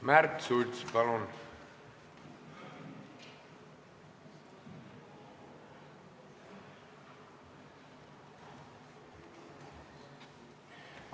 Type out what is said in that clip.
Märt Sults, palun!